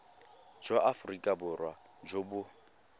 jwa aforika borwa jo bo